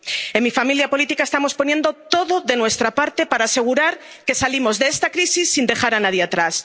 En mi familia política estamos poniendo todo de nuestra parte para asegurar que salimos de esta crisis sin dejar a nadie atrás.